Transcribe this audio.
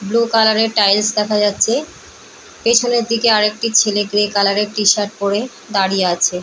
Blue colour - এর tiles দেখা যাচ্ছে পেছনের দিকে আর একটি ছেলে গ্রে কালার - এর টি- শার্ট পরে দাঁড়িয়ে আছে।